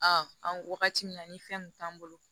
an wagati min na ni fɛn kun t'an bolo